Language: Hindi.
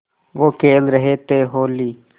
वो खेल रहे थे होली